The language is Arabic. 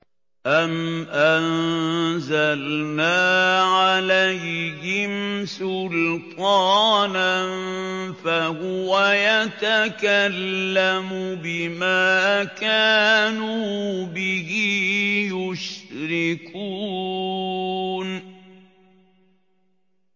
أَمْ أَنزَلْنَا عَلَيْهِمْ سُلْطَانًا فَهُوَ يَتَكَلَّمُ بِمَا كَانُوا بِهِ يُشْرِكُونَ